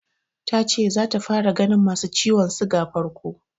Ta ce zata fara ganin masu ciwon siga farko.